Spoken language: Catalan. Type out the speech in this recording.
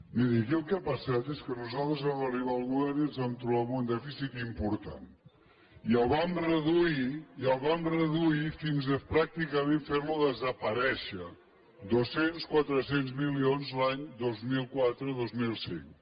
miri aquí el que ha passat és que nosaltres vam arribar al govern i ens vam trobar amb un dèficit important i el vam reduir i el vam reduir fins a pràcticament fer lo desaparèixer dos cents quatre cents milions l’any dos mil quatre dos mil cinc